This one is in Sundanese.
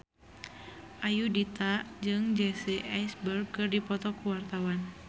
Ayudhita jeung Jesse Eisenberg keur dipoto ku wartawan